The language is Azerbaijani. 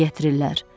Nə gətirirlər?